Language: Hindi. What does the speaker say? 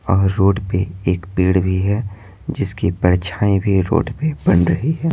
और रोड पे एक पेड़ भी है जिसकी परछाएं भी रोड पे बन रही है।